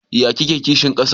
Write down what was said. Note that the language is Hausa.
Yaya kike kishin kasa?